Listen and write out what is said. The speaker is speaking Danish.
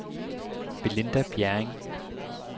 Belinda Bjerring